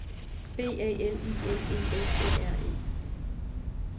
B A L I N E S E R E